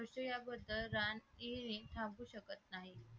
रान येणे थांबू शकत नाही